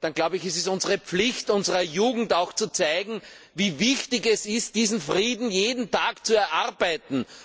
dann ist es unsere Pflicht, unserer Jugend auch zu zeigen, wie wichtig es ist, diesen Frieden jeden Tag zu erarbeiten.